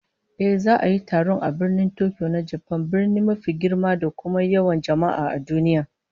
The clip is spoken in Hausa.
Ehh, za'a yi taron a Birnin Tokyo na Japan, birni mafi girma da kuma yawan jama'a a duniya